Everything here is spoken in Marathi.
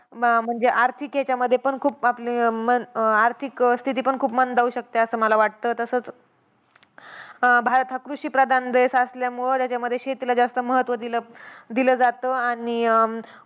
म म्हणजे आर्थिक याच्यामध्ये पण खूप आपले मन आर्थिक स्थिती पण खूप मंदावू शकते असं मला वाटतं. तसंच अं भारत हा कृषिप्रधान देश असल्यामुळं त्याच्यामध्ये शेतीला जास्त महत्त्व दिलं, दिलं जातं आणि,